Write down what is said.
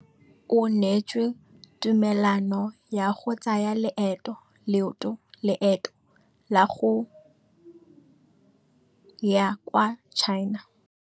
O neetswe tumalanô ya go tsaya loetô la go ya kwa China.